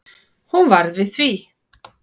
Hún varð við því